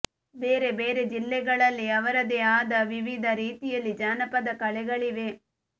ಬೇರೆ ಬೇರೆ ಜಿಲ್ಲೆಗಳಲ್ಲಿ ಅವರದೇ ಆದ ವಿವಿಧ ರೀತಿಯಲ್ಲಿ ಜಾನಪದ ಕಲೆಗಳಿವೆ